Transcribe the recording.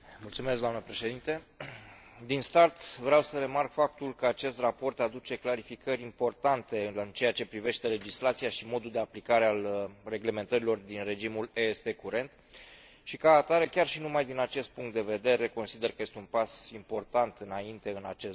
Din start, vreau să remarc faptul că acest raport aduce clarificări importante în ceea ce privește legislația și modul de aplicare a reglementărilor din regimul EST curent și, ca atare, chiar și numai din acest punct de vedere, consider că este un pas important înainte în acest domeniu.